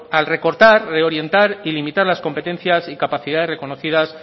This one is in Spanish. al recortar reorientar y limitar las competencias y capacidades reconocidas